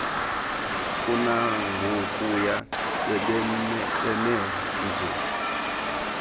kunangokuya bebeme nzu